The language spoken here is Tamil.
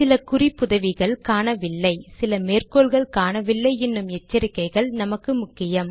சில குறிப்புதவிகள் காணவில்லை சில மேற்கோள்கள் காணவில்லை என்னும் எச்சரிக்கைகள் நமக்கு முக்கியம்